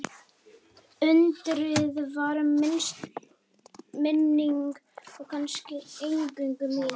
Undrið varð minning og kannski eingöngu mín minning.